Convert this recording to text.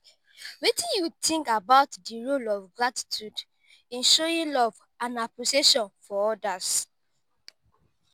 wetin you think about di role of gratitude in showing love and appreciation for odas?